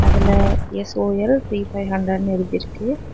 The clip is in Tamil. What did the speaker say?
அதுல எஸ்_ஓ_எல் த்ரீ ஃபைவ் ஹன்ட்ரேட்னு எழுதிருக்கு.